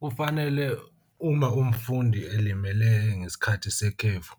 Kufanele uma umfundi elimele ngesikhathi sekhefu,